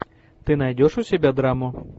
ты найдешь у себя драму